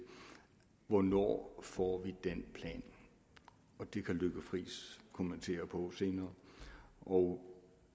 hvornår får den plan og det kan lykke friis kommentere senere og